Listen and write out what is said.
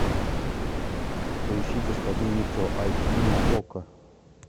поищи господин никто айч ди на окко